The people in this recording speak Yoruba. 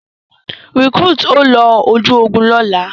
Recruit, o ló oju ògún lola!